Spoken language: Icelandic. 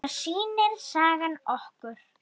Það sýnir sagan okkur.